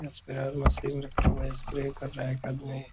Spray machine रखा हुआ है स्प्रे कर रहा है एक आदमी ।